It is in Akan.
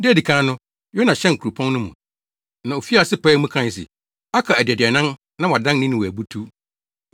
Da a edi kan no, Yona hyɛn kuropɔn no mu, na ofii ase pae mu kae se, “Aka adaduanan na wɔadan Ninewe abutuw.”